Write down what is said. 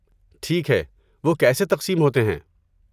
ٹھیک ہے، وہ کیسے تقسیم ہوتے ہیں؟